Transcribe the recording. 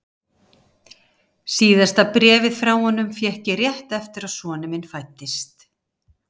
Síðasta bréfið frá honum fékk ég rétt eftir að sonur minn fæddist.